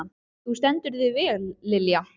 Þú stendur þig vel, Lilja!